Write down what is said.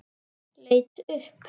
Leit upp.